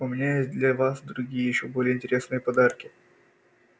у меня есть для вас другие ещё более интересные подарки